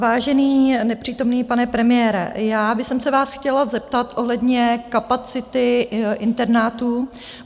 Vážený nepřítomný pane premiére, já bych se vás chtěla zeptat ohledně kapacity internátů.